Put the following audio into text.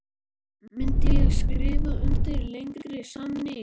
Myndi ég skrifa undir lengri samning?